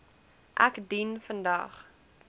ek dien vandag